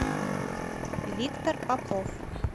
виктор попов